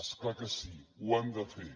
és clar que sí ho han de fer